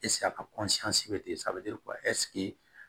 a ka